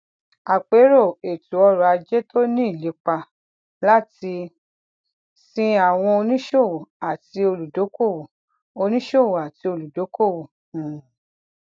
àpérò ètò ọrọ ajé tó ní ìlépa láti sin àwọn oníṣòwò àti olùdókòwò oníṣòwò àti olùdókòwò um